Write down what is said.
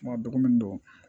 Kuma dɔgɔkun don